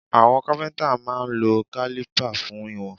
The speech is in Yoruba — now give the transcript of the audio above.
Àwọn Kápẹ́ńtà máa ń lo kálípà fún ìwọ̀n.